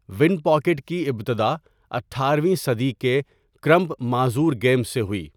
One packet کی ابتدا اٹھارہ ویں صدی کے کرمپ معذور گیمز سے ہوئی.